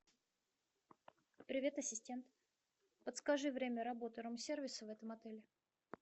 привет ассистент подскажи время работы рум сервиса в этом отеле